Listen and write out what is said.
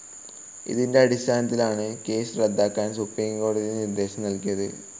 ഇതിൻ്റെ അടിസ്ഥാനത്തിലാണ് കേസ്സ് റദ്ദാക്കാൻ സുപ്രീം കോടതി നിർദ്ദേശം നൽകിയത്.